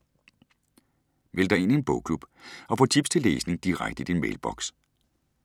Meld dig ind i en bogklub og få tips til læsning direkte i din mailboks